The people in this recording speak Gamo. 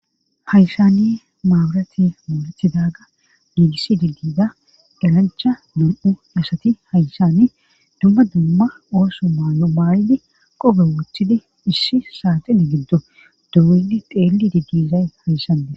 Hayssani maaburati maorathidaga giigiss digdida darancha nam7u asati hayssani dumma dumma ooso maayo maaridi qobe woothidi issi saatine giddo duudi xeelli digdizay hayssande.